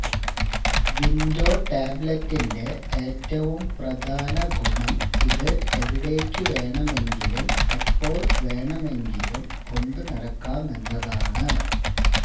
window ടാബ്ലറ്റിന്റെ ഏറ്റവും പ്രധാന ഗുണം ഇത് എവിടേയ്ക്ക് വേണമെങ്കിലും എപ്പോള് വേണമെങ്കിലും കൊണ്ടു നടക്കാമെന്നതാണ്